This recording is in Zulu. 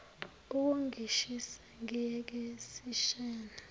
ukungishisa ngiyeke sishayane